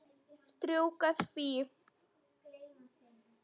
Strjúka því.